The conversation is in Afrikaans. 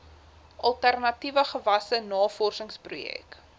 alternatiewe gewasse navorsingsprojekte